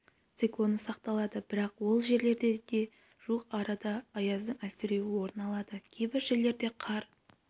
циклоны сақталады бірақ ол жерлерде де жуық арада аяздың әлсіреуі орын алады кейбір жерлерде қар